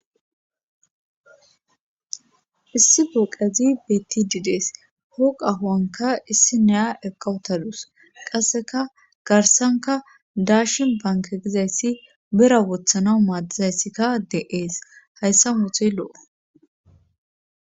Issi booqezi betididees pooqahoanka issi neya ekawutaduus qasseka garsanka daashin banke gizayssi bera wothana maaddizayssikka de7ees hayssa mutey lo7o